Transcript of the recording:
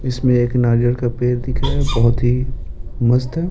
इसमे एक नारियल का पेड़ दिख रहा है बहुत ही मस्त है।